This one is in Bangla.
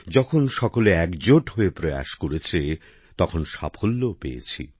যখন সকলে একজোট হয়ে চেষ্টা করেছেন তখন সাফল্যও পেয়েছি